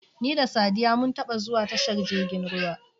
Ni da Saddiya mun taba zuwa tashar jirgin ruwa.